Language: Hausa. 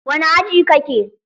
Wani aji ka ke?